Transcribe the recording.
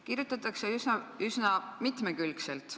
Kirjutatakse üsna mitmekülgselt.